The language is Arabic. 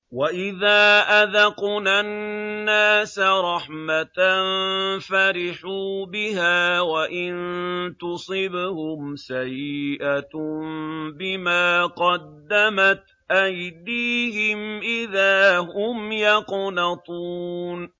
وَإِذَا أَذَقْنَا النَّاسَ رَحْمَةً فَرِحُوا بِهَا ۖ وَإِن تُصِبْهُمْ سَيِّئَةٌ بِمَا قَدَّمَتْ أَيْدِيهِمْ إِذَا هُمْ يَقْنَطُونَ